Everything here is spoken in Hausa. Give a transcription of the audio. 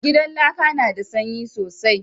Gidan laƙa na da sanyi sosai